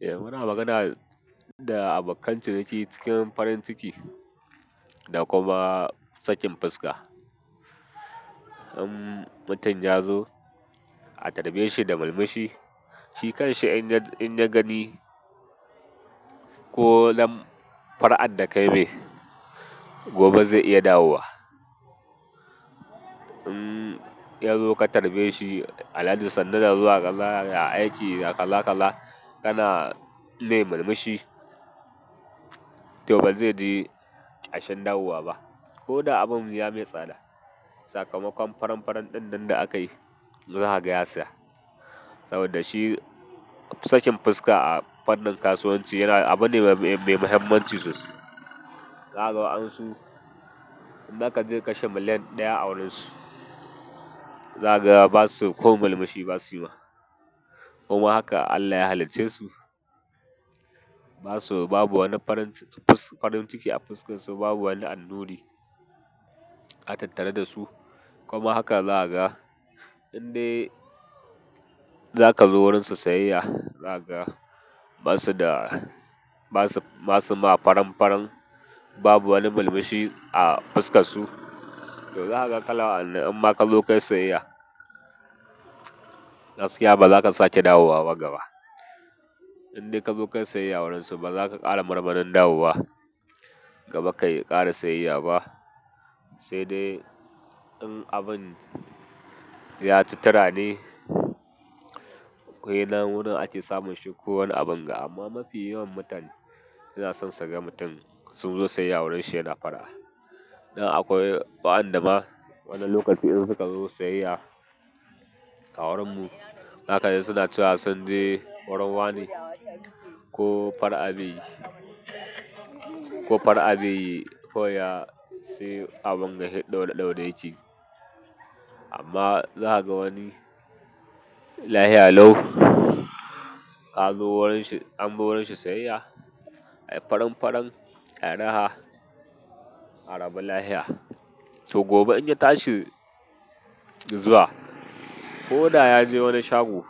Eh muna magana da abokan ciniki cikin farin ciki da kuma sakin fuska. In mutum ya zo, a karba shi da murmushi, shi kanshi in ya gani ko fara'ar da kayi mai, gobe zai iya dawowa. In yazo ka karbe shi, alhaji sannu da zuwa, ya aiki, ya kaza kaza kana mai murmushi, toh ba zai ji ƙashen dawowa ba. Ko da abun ya mai tsada. Sakamakon faran-faran din nan da akayi, za a kaga ya saya. Saboda shi sakin fuska a fannin kasuwanci yana abu ne mai muhimmanci sosai. zaKa ga wa'ansu in zaka je kashe miliyan ɗaya a wurinsu, za ka ga ba su ko murmushi ba su yi ma. Kuma haka Allah ya halicce su, ba su babu wani farin ciki a fuskar su babu wani annuri a tattare da su. Kuma haka za ka ga indai zaka zo wurin su siyayya, za ka ga ba su da, ba su ma faran-faran babu wani murmushi a fuskar su. To za ka kala anan inma ka zo kayi siyayya, gaskiya ba za ka sake dawowa ba gaba. Indai ka zo kai siyayya wurin su ba za ka ƙara marmarin dawowa gaba kai ƙara siyayya ba. Sai dai in abun ya ci tirani akwai na wurin ake samun shi ko wani abun ga amma mafi yawan mutane suna son su ga mutum sun zo siyayya wurin shi yana fara'a. Nan akwai waɗanda ma wani lokaci idan suka zo siyayya a wurin mu haka dai suna cewa sun je wurin wanr ko far'a beyi ko fara'a beyi kawai ya sai abun gashi ɗaure-ɗaure yakeyi. Amma za ka ga wani layi alau ka zo wurin shi, an zo wurin shi siyayya, ka yi faran-faran, ya yi raha, arabu layiha. To gobe in ya tashi zuwa ko da ya je wani shago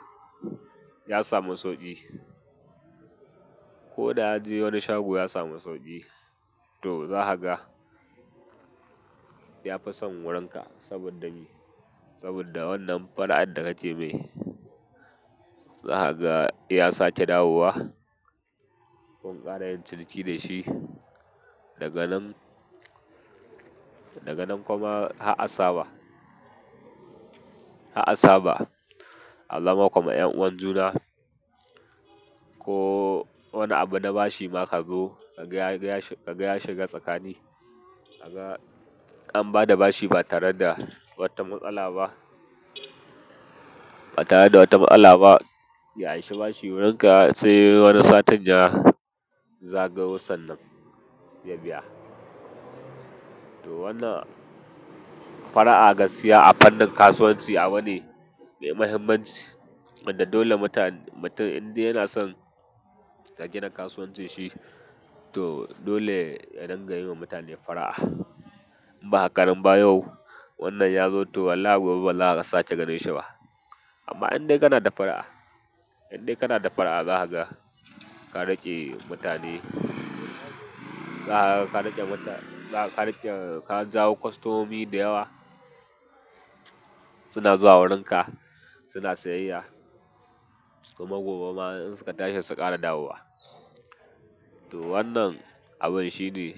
ya samu sauƙi, ko da ya je wani shago ya samu sauƙi, to za ka ga ya fi son wurin ka, saboda me? Saboda wannan fara'ar da kake mai. Za ka ga ya sake dawowa, ko in ƙara yin ciniki da shi. Daga nan, daga nan kuma har'asaba har'asaba aza ma kuma ƴan'uwan juna ko wani abu na bashi ma ka zo ka gaya ka gaya shi ka gaya shi ga tsakani. An ba da bashi ba tare da wata matsala ba. Ba tare da wata matsala ba, ya anshi bashi wurin ka sai wani satin ya zagayo san nan ya biya. To wannan fara'a gaskiya a fannin kasuwanci abu ne mai muhimmanci. Inda dole mutum indai yana son ka gina kasuwancin shi to dole ya dangayi wa mutane far'a. Ba kamar ba yau wannan ya zo to wallahi gobe wallahi ba za ka sake ganin shi ba. Amma indai kana da fara'a, indai kana da fara'a za ka ga ka rage mutane, za ka ga rage ka jawo kwastomi da yawa suna zuwa wurin ka suna siyayya. Kuma gobe ma in suka tashi su ƙara dawowa. To wannan abun shine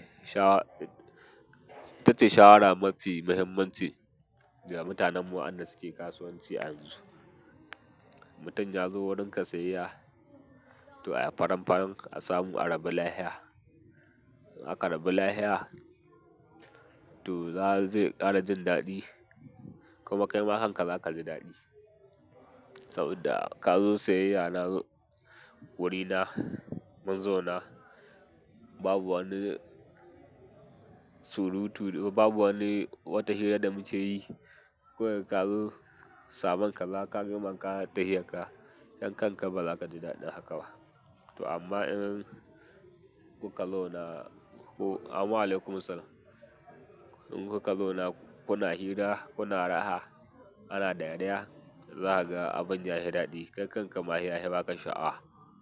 ita ce shawara mafi muhimmanci ga mutanenmu waƴanda suke kasuwanci a yanzu. Mutum ya zo wurin ka siyayya to a yi faran-faran a samu arabu layiha. Aƙarabu layiha to zai ƙara jin daɗi. Kuma kai ma kanka za ka ji daɗi. Saboda ka zo siyayya na wurina, mun zo na babu wani surutu babu wani wata hira da muke yi. Kawai ka zo samun ka, za ka biyo man ka tahiya ka. Yankan ka ma ba za ka ji daɗin haka ba. To amma in kun ka zauna, amma alaikum salama in kuka zauna kuna hira kuna raha, ana ɗariya za ka ga abun ya fi daɗi. Kai kanka ma saiya fi baka sha'awa.